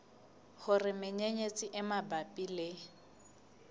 hore menyenyetsi e mabapi le